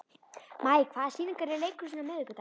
Maj, hvaða sýningar eru í leikhúsinu á miðvikudaginn?